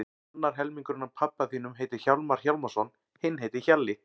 Annar helmingurinn af pabba þínum heitir Hjálmar Hjálmarsson, hinn heitir Hjalli.